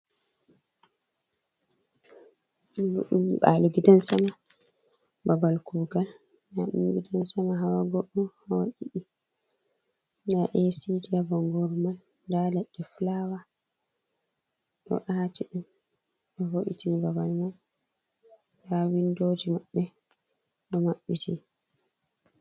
Ɗoo ɗum nyiɓaalo ''gidansama'' babal kuugal. Ndaa gidansama hawa go'o, hawa ɗiɗi. Ndaa eesiiji haa bonngooru man, ndaa leɗɗe fulaawa ɗo aati, nden ɓe ɗo wo''itin babal man. Ndaa winndooji maɓɓe ɗo maɓɓiti.